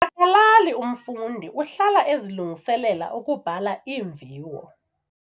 kalali umfundi uhlala ezilungiselela ukubhala iimviwo.